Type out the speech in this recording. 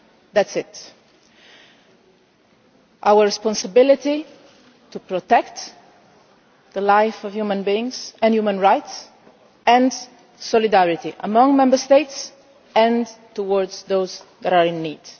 That is what it is about our responsibility to protect the lives of human beings, and human rights and solidarity among Member States and towards those in need.